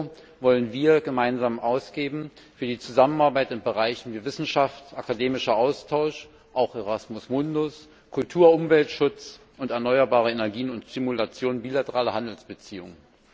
Euro wollen wir gemeinsam ausgeben für die Zusammenarbeit in Bereichen wie Wissenschaft, akademischer Austausch auch Erasmus Mundus Kultur, Umweltschutz und erneuerbare Energien sowie Stimulation bilateraler Handelsbeziehungen.